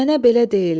Mənə belə deyirlər.